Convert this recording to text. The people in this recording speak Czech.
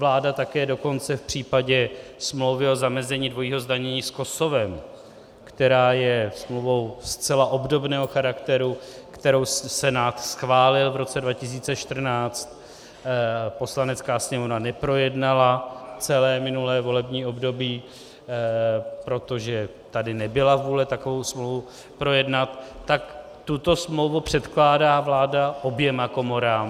Vláda také dokonce v případě smlouvy o zamezení dvojího zdanění s Kosovem, která je smlouvou zcela obdobného charakteru, kterou Senát schválil v roce 2014, Poslanecká sněmovna neprojednala celé minulé volební období, protože tady nebyla vůle takovou smlouvu projednat, tak tuto smlouvu předkládá vláda oběma komorám.